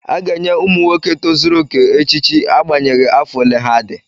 A ga-enye ụmụ nwoke tozuru oke echichi agbanyeghị afọ ole ha dị.